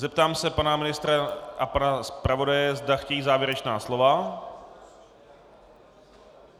Zeptám se pana ministra a pana zpravodaje, zda chtějí závěrečná slova.